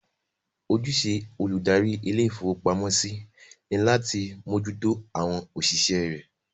Ojúṣe olùdarí ilé-ìfowópamọ́sí ni láti mójú tó àwọn òṣìṣẹ́ rẹ̀.